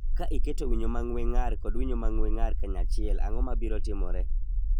Ka iketo winyo ma ng�we ng�ar kod winyo ma ng�we ng�ar kanyachiel, ang�o ma biro timore?